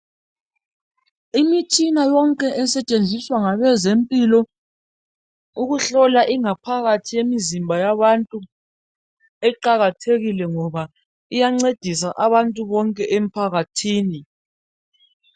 Imitshina yonke esetshenziswa ngabezempilo ukuhlola ingaphakathi yemizimba yabantu. Iqakathekile ngoba iyancedisa abantu bonke emphakathini.